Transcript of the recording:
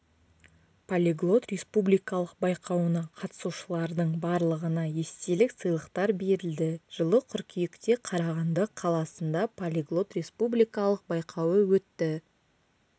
полиглот республикалық байқауына қатысушылардың барлығына естелік сыйлықтар берілді жылы қыркүйекте қарағанды қаласында полиглот республикалық байқауы өтті